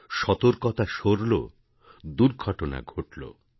· সতর্কতা সরলো দুর্ঘটনা ঘটলো